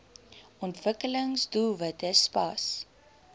ontwikkelings doelwitte spas